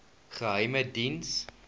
geheimediens